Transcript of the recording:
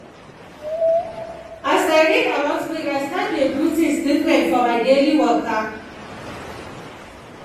as i read about break i start dey do things different for my daily waka.